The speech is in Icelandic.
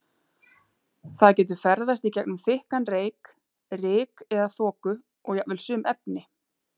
Það getur ferðast í gegnum þykkan reyk, ryk eða þoku og jafnvel sum efni.